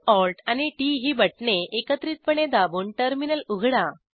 CtrlAlt आणि TT ही बटणे एकत्रितपणे दाबून टर्मिनल उघडा